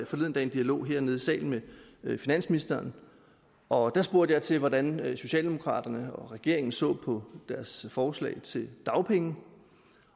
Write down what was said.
forleden dag en dialog hernede i salen med finansministeren og der spurgte jeg til hvordan socialdemokraterne og regeringen så på deres forslag til dagpenge